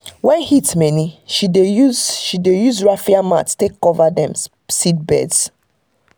when heat many she dey use she dey use raffia mats take cover dem seedbeds.